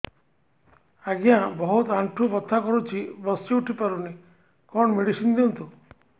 ଆଜ୍ଞା ବହୁତ ଆଣ୍ଠୁ ବଥା କରୁଛି ବସି ଉଠି ପାରୁନି କଣ ମେଡ଼ିସିନ ଦିଅନ୍ତୁ